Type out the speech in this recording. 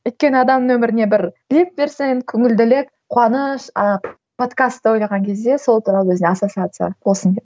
өйткені адамның өміріне бір леп берсе енді көңілділік қуаныш а подкасты ойлаған кезде сол туралы өзіне ассоциация